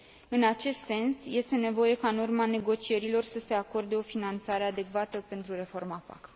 În acest sens, este nevoie ca, în urma negocierilor, să se acorde o finanțare adecvată pentru reforma PAC.